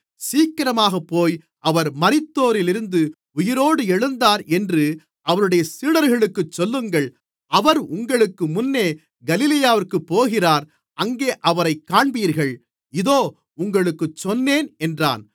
சீக்கிரமாகப்போய் அவர் மரித்தோரிலிருந்து உயிரோடு எழுந்தார் என்று அவருடைய சீடர்களுக்குச் சொல்லுங்கள் அவர் உங்களுக்கு முன்னே கலிலேயாவிற்குப் போகிறார் அங்கே அவரைக் காண்பீர்கள் இதோ உங்களுக்குச் சொன்னேன் என்றான்